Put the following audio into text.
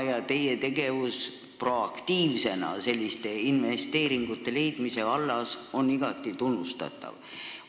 Ja teie proaktiivne tegevus selliste investeeringute leidmise vallas on igati tunnustatav.